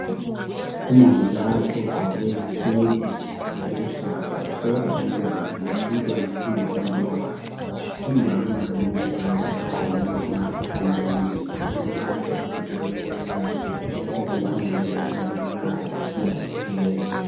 Umongikazi ogqoke isudu eluhlaza uhlola umntwana. Umntwana uhamba lomama wakhe. Umama lomongikazi bagqoke ama maski emlonyeni. Ama maski okuvikela imikhuhlane ukuba ingangeni ngamakhala isiya esifubeni.